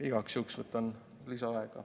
Igaks juhuks võtan lisaaega.